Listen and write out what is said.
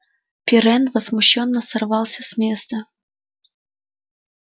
пиренн возмущённо сорвался с места